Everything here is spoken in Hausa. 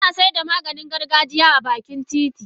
Tana saida Maganin gargajiya a bakin titi.